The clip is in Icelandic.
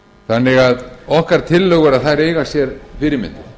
þannig að okkar tillögur þær eiga sér fyrirmynd